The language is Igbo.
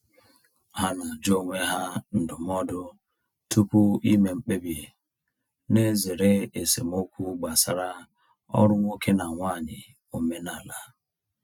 Ha na-ajụ onwe ha ndụmọdụ tupu ime mkpebi, na-ezere esemokwu gbasara ọrụ nwoke na nwanyị omenala.